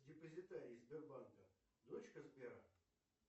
депозитарий сбербанка дочка сбера